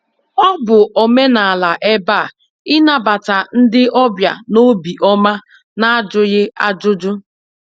Ọ bụ omenala ebe a ịnabata ndị ọbịa n'obi ọma n'ajụghị ajụjụ.